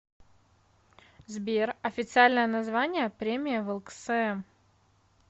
сбер официальное название премия влксм